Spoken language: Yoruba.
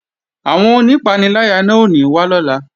Àwọn onípaniláyà náà ò ní wá lọ́la